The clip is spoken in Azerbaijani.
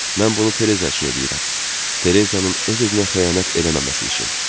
Mən bunu Tereza üçün eləyirəm, Tereza öz-özünə xəyanət eləməməsi üçün.